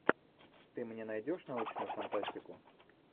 ты мне найдешь научную фантастику